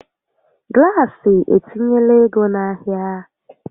Glaasị etinyelq ego n'ahịa